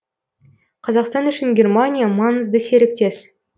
қазақстан үшін германия маңызды серіктес